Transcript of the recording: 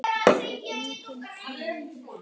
Það er enginn friður!